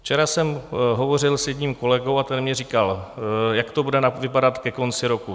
Včera jsem hovořil s jedním kolegou a ten mi říkal, jak to bude vypadat ke konci roku.